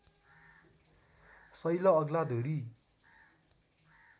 शैल अग्ला धुरी